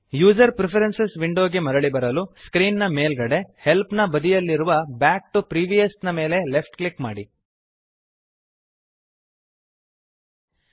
user preferences window ಗೆ ಮರಳಿ ಬರಲು ಸ್ಕ್ರೀನ್ ನ ಮೇಲ್ಗಡೆ ಹೆಲ್ಪ್ ನ ಬದಿಯಲ್ಲಿರುವ ಬ್ಯಾಕ್ ಟಿಒ ಪ್ರಿವಿಯಸ್ ನ ಮೇಲೆ ಲೆಫ್ಟ್ ಕ್ಲಿಕ್ ಮಾಡಿರಿ